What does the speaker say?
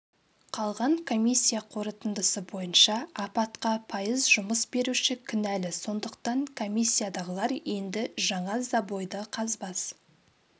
қалған комиссия қорытындысы бойынша апатқа пайыз жұмыс беруші кінәлі сондықтан комиссиядағылар енді жаңа забойды қазбас